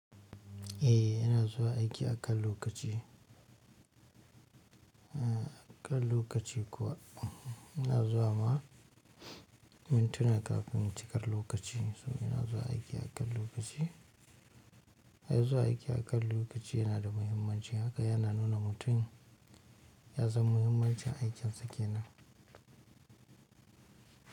Eh, yana zuwa aiki akan lokaci, a kan lokaci kuwa. Yana zuwa ma mintuna kafin cikar lokaci. So yana zuwa aiki akan lokaci. Haya zuwa aiki akan lokaci yana da muhimmanci haka yana nuna mutum ya san muhimmancin aikinsa kenan.